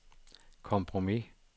kompromis